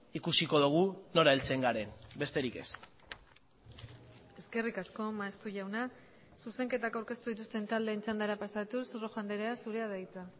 ikusiko dugu nora heltzen garen besterik ez eskerrik asko maeztu jauna zuzenketak aurkeztu dituzten taldeen txandara pasatuz rojo andrea zurea da hitza